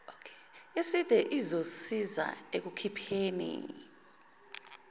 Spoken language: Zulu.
esidi izosiza ekukhipheni